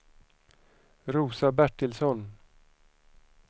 Rosa Bertilsson